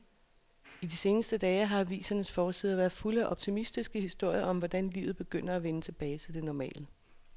I de seneste dage har avisernes forsider været fulde af optimistiske historier om, hvordan livet begynder at vende tilbage til det normale.